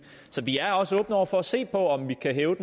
så vi er også åbne over for at se på om vi kan hæve